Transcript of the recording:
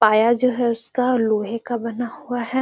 पाया जो है इसका लोहे का बना हुआ है।